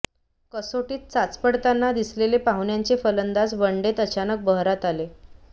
कसोटीत चाचपडताना दिसलेले पाहुण्यांचे फलंदाज वनडेत अचानक बहरात आले